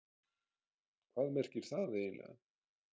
Hvað merkir það eiginlega?